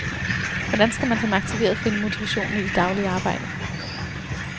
Hvordan skal man som aktiveret finde motivationen i det daglige arbejde?